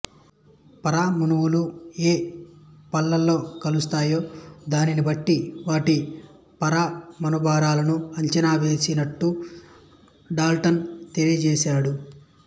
పరమాణువులు ఏయే పాళ్ళలో కలుస్తాయో దాన్ని బట్టి వాటి పరమాణుభారాలను అంచనా వేసినట్టు డాల్టన్ తెలియజేశాడు